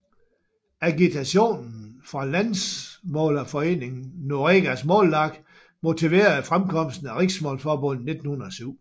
Agitationen fra landsmålsforeningen Noregs Mållag motiverede fremkomsten af Riksmålsforbundet i 1907